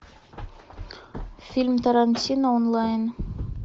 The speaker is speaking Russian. фильм тарантино онлайн